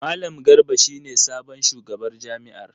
Malam Garba shi ne sabon shugabar jami’ar.